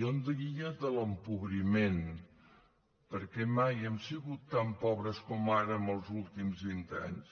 jo en diria de l’empobriment perquè mai hem sigut tan pobres com ara en els últims vint anys